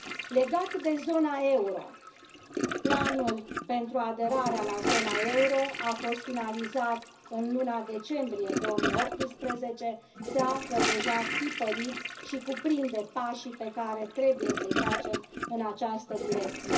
Legat de zona euro planul pentru aderarea la zona euro a fost finalizat în luna decembrie 2018, se află deja tipărit și cuprinde pașii pe care trebuie să îi facem în această direcție.